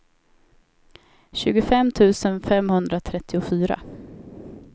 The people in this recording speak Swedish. tjugofem tusen femhundratrettiofyra